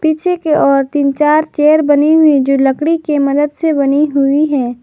पीछे की ओर तीन चार चेयर बनी हुई जो लकड़ी के मदद से बनी हुई है।